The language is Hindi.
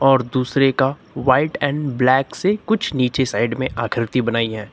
और दूसरे का व्हाइट एंड ब्लैक से कुछ नीचे साइड में आकृति बनाई है।